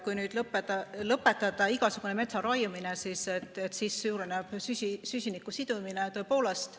Kui nüüd lõpetada igasugune metsa raiumine, siis suureneb süsiniku sidumine tõepoolest.